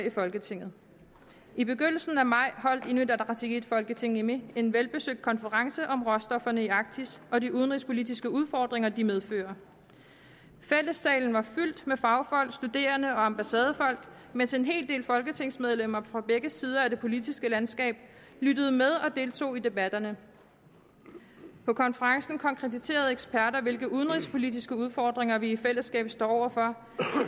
i folketinget i begyndelsen af maj holdt inuit ataqatigiit folketingimi en velbesøgt konference om råstofferne i arktis og de udenrigspolitiske udfordringer de medfører fællessalen var fyldt med fagfolk studerende og ambassadefolk mens en hel del folketingsmedlemmer fra begge sider af det politiske landskab lyttede med og deltog i debatterne på konferencen konkretiserede eksperter hvilke udenrigspolitiske udfordringer vi i fællesskab står over for